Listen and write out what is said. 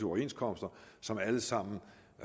overenskomster som alt sammen